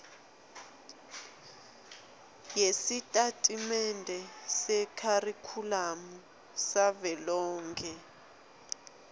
yesitatimende sekharikhulamu savelonkhe